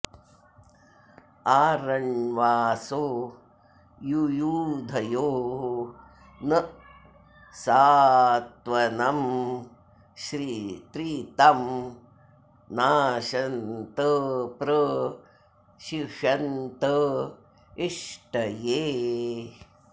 आ र॒ण्वासो॒ युयु॑धयो॒ न स॑त्व॒नं त्रि॒तं न॑शन्त॒ प्र शि॒षन्त॑ इ॒ष्टये॑